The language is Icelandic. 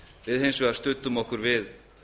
við studdum hins vegar við